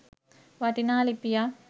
වටිනා ලිපියක්.